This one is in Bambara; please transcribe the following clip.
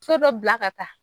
So dɔ bila ka taa